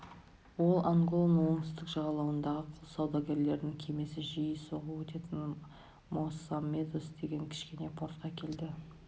ол анголаның оңтүстік жағалауындағы құл саудагерлерінің кемесі жиі соғып өтетін моссамедес деген кішкене портқа келеді